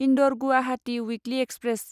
Indore Guwahati weekly express